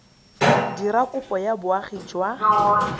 dira kopo ya boagi jwa